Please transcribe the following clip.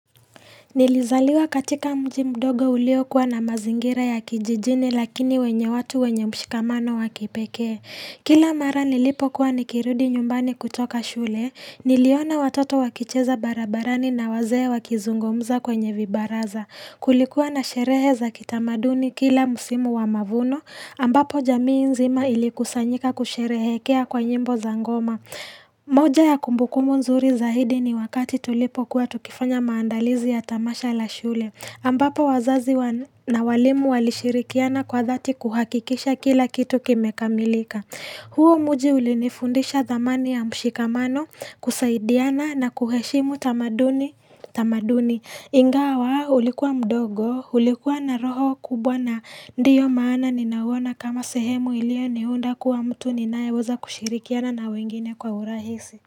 Nilizaliwa katika mji mdogo uliokuwa na mazingira ya kijijini lakini wenye watu wenye mshikamano wa kipekee. Kila mara nilipokuwa nikirudi nyumbani kutoka shule, niliona watoto wakicheza barabarani na wazee wakizungumza kwenye vibaraza. Kulikuwa na sherehe za kitamaduni kila musimu wa mavuno, ambapo jamii nzima ilikusanyika kusherehekea kwa nyimbo za ngoma. Moja ya kumbuku nzuri zaidi ni wakati tulipo kuwa tukifanya maandalizi ya tamasha la shule. Ambapo wazazi na walimu walishirikiana kwa dhati kuhakikisha kila kitu kimekamilika huo mji ulinifundisha dhamani ya mshikamano kusaidiana na kuheshimu tamaduni tamaduni ingawa ulikuwa mdogo ulikuwa na roho kubwa na ndio maana ninauona kama sehemu iliyoniunda kuwa mtu ninayeweza kushirikiana na wengine kwa urahisi.